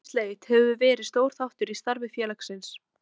Krabbameinsleit hefur verið stór þáttur í starfi félagsins.